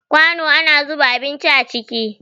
Kwano ana zuba abinci a ciki